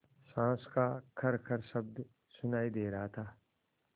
साँस का खरखर शब्द सुनाई दे रहा था